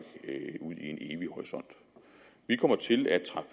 ud i en evig horisont vi kommer til at træffe